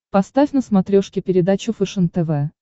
поставь на смотрешке передачу фэшен тв